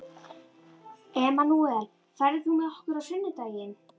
Emanúel, ferð þú með okkur á sunnudaginn?